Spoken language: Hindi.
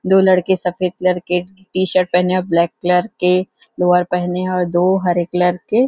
दो लड़के सफ़ेद कलर के टीशर्ट पहने और ब्लैक कलर के लोवर पहने और दो हरे कलर के--